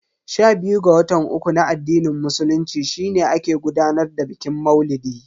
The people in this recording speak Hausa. Sha biyu ga watan uku na addinin musulunci shine ake gudanar da bikin maulidi.